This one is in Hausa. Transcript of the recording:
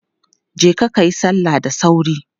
Je kayi salla da sauri!